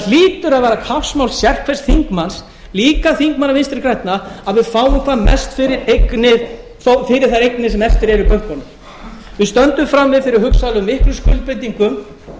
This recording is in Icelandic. hlýtur að vera kappsmál sérhvers þingmanns líka þingmanna vinstri grænna að við fáum sem mest fyrir þær eignir sem eftir eru í bönkunum við stöndum frammi fyrir hugsanlega miklum skuldbindingum